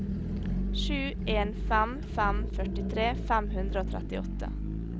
sju en fem fem førtitre fem hundre og trettiåtte